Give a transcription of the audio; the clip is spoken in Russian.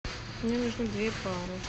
мне нужно две пары